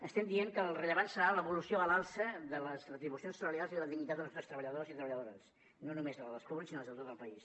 estem dient que el rellevant serà l’evolució a l’alça de les retribucions salarials i de la dignitat dels nostres treballadors i treballadores no només de la dels públics sinó de les de tot el país